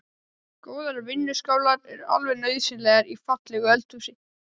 Góðar vinnuskálar eru alveg nauðsynlegar í fallegu eldhúsi.